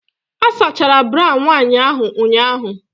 A sachara bra nwanyị ahụ ụnyahụ.